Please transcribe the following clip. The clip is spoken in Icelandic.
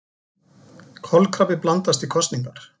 Kolkrabbi blandast í kosningar